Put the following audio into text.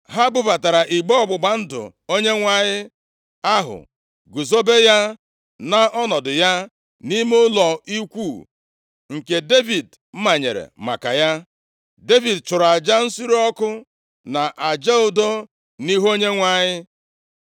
Ha bubatara igbe ọgbụgba ndụ Onyenwe anyị ahụ, guzobe ya nʼọnọdụ ya nʼime ụlọ ikwu nke Devid manyere maka ya. Devid chụrụ aja nsure ọkụ na aja udo nʼihu Onyenwe anyị.